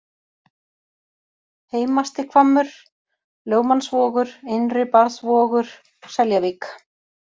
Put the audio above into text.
Heimastihvammur, Lögmannsvogur, Innri-Barðsvogur, Seljavík